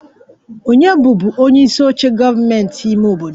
Ònye bụbu onyeisi oche gọọmentị ime obodo?